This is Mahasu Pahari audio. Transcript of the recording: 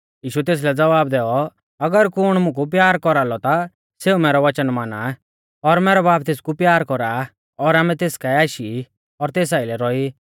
यीशुऐ तेसलै ज़वाब दैऔ अगर कुण मुकु प्यार कौरालौ ता सेऊ मैरौ वचन माना आ और मैरौ बाब तेसकु प्यार कौरा और आमै तेस काऐ आशी ई और तेस आइलै रौई